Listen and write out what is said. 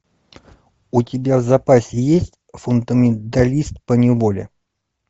у тебя в запасе есть фундаменталист поневоле